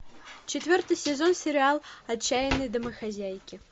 четвертый сезон сериал отчаянные домохозяйки